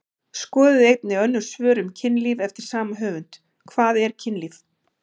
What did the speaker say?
Skoðið einnig önnur svör um kynlíf eftir sama höfund: Hvað er kynlíf?